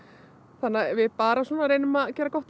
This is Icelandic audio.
þannig við bara reynum að gera gott úr